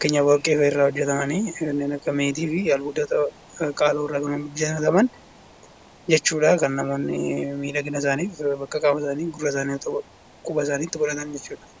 Kanneen warqeerraa hojjatamanii meetii fi albuudota irraa kan hojjataman jechuudha kan namoonni miidhagina isaaniif kutaa qaama isaanii gurra isaanii quba isaaniitti godhatan jechuudha.